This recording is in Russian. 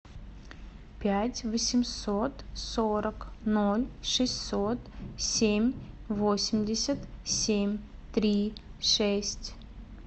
пять восемьсот сорок ноль шестьсот семь восемьдесят семь три шесть